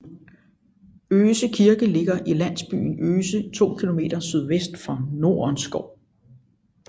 Øse Kirke ligger i landsbyen Øse 2 km sydvest for Nordenskov